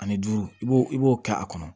Ani duuru i b'o i b'o kɛ a kɔnɔ